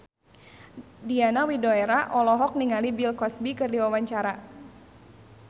Diana Widoera olohok ningali Bill Cosby keur diwawancara